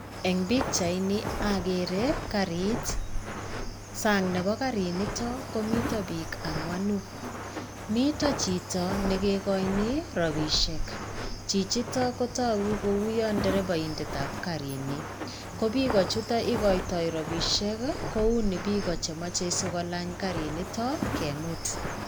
En bichaini okere karit sang nebo kariniton komiten biik anwanuu, miten chito nekikoinii robishek chichitok kotoku kouwon inderepoindet ab karinii ko biik chutok ikoitoi rabishek kou ne biik chemoche sikolanch kariniton kemut.